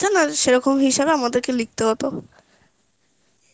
আর সেরকম হিসেবে আমাদেরকে লিখতে হতো